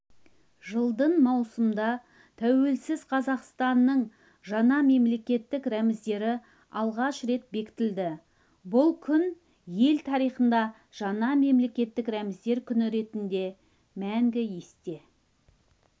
жылдың маусымында тәуелсіз қазақстанның жаңа мемлекеттік рәміздері алғаш рет бекітілді бұл күн ел тарихында жаңа мемлекеттік рәміздер күні ретінде мәңгі есте